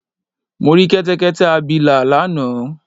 Mo rí Kẹ́tẹ́kẹ́tẹ́ abilà lánàá